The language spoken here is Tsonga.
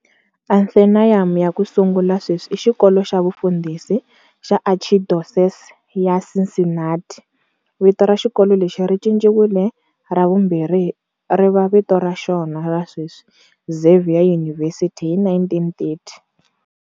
Anthenaeum ya"ku sungula" sweswi i xikolo xa vufundhisi xa Archdiocese ya Cincinnati. Vito ra xikolo lexi ri cinciwile ra vumbirhi ri va vito ra xona ra sweswi, Xavier University, hi 1930.